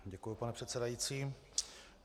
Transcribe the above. Děkuji, pane předsedající.